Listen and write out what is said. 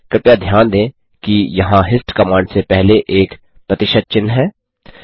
कृपया ध्यान दें कि यहाँ हिस्ट कमांड से पहले एक प्रतिशत चिह्न है